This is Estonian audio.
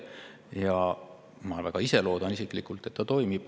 Ja ma ka isiklikult väga loodan, et see toimub.